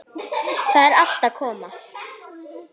Þetta er allt að koma.